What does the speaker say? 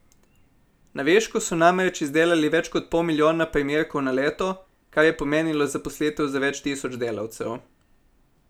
Na višku so namreč izdelali več kot pol milijona primerkov na leto, kar je pomenilo zaposlitev za več tisoč delavcev.